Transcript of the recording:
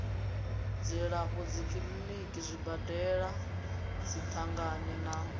dzilafho dzikiḽiniki zwibadela dziṅangani na